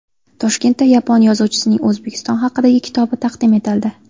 Toshkentda yapon yozuvchisining O‘zbekiston haqidagi kitobi taqdim etildi.